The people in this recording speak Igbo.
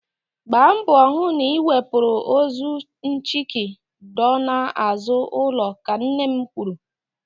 Gbaa mbọ hụ na ị wepụrụ ozu nchiki dọọ n'azụ ụlọ. Ka nne m kwuru.